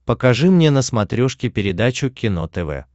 покажи мне на смотрешке передачу кино тв